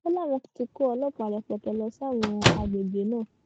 ó láwọn tí kó ọlọpàá rẹpẹtẹ lọ sáwọn àgbègbè náà